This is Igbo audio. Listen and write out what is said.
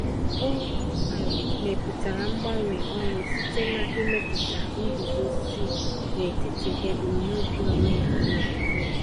O um mepụtara mgbanwe ọrụ site na imepụta nguzozi n’etiti ebumnobi onwe ya na okwukwe ya.